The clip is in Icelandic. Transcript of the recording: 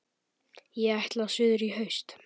Ég ætla suður í haust.